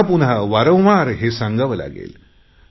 पुन्हा पुन्हा वारंवार हे सांगावे लागेल